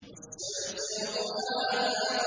وَالشَّمْسِ وَضُحَاهَا